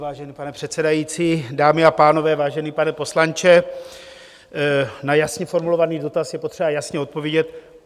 Vážený pane předsedající, dámy a pánové, vážený pane poslanče, na jasně formulovaný dotaz je potřeba jasně odpovědět.